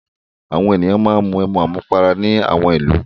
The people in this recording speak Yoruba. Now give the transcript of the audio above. Àwọn ènìyàn máa ń mu ẹmu àmupara ní àwọn ìlú.